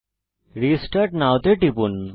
restart now এ টিপুন